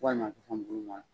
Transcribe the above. Ko ka na fɛn duman.